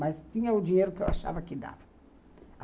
Mas tinha o dinheiro que eu achava que dava.